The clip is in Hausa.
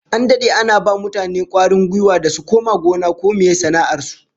An dade ana ba mutane kwarin gwiwa da su koma gona ko meye sana'ar su